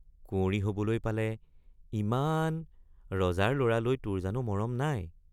কুঁৱৰী হবলৈ পালে—ইমান—ৰজাৰ লৰালৈ তোৰ জানো মৰম নাই।